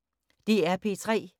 DR P3